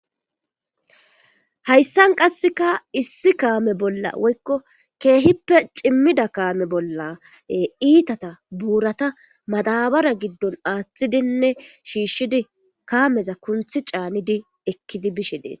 Hayisan qasika issi kame bola woyikko kehippe cimida kame bola itata burata madabara gidon atidinne shishidi kameza kunti canidi ekidi bishe detes.